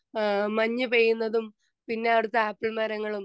speaker 2 ഏഹ് മഞ്ഞു പെയ്യുന്നതും പിന്നെ അവിടുത്തെ ആപ്പിൾ മരങ്ങളും